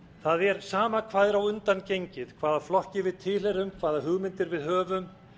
það er sama hvað er á undan gengið hvaða flokki við tilheyrum hvaða hugmyndir við höfum